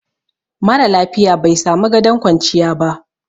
mara lafiya bai samu gadon kwanciya ba